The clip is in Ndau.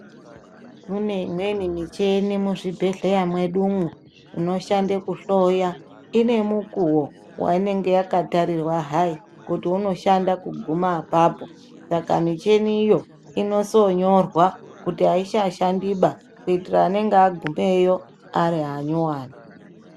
Kune imweni micheni muzvibhedhleya mwedu umwo inoshanda kuhloya inemukuwo wainge yakatarirwa hai kuti unoshanda kuguma apapo saka micheni iyo inosonyorwa kuti aichashandiba kuitira anenge agumeyo arianyowani.